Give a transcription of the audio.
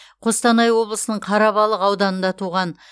қостанай облысының қарабалық ауданында туған